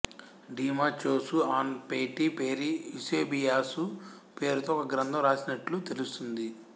డీమాచోసు ఆన్ పైటీ పెరి యూసేబియాసు పేరుతో ఒక గ్రంథం రాసినట్లు తెలుస్తోంది